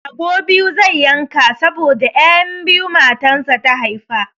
Rago biyu zai yanka saboda 'yan biyu matansa ta haifa.